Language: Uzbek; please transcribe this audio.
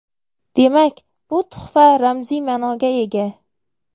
Demak, bu tuhfa ramziy ma’noga ega.